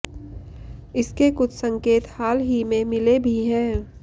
इसके कुछ संकेत हाल ही में मिले भी हैं